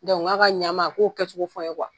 k'a ka ɲama a k'o kɛcogo fɔ n ye